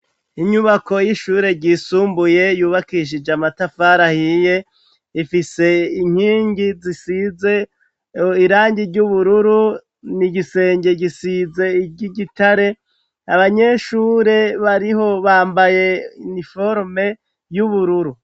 Inyubako y'ishure ryisumbuye yubakishije amatafari ahiye ifise inkingi zisize irangi ry'ubururu nigisenge gisize ry'igitare abanyeshure bariho bambaye iniforome y'ubururu.